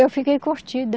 Eu fiquei.